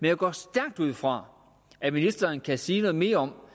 jeg går stærkt ud fra at ministeren kan sige noget mere om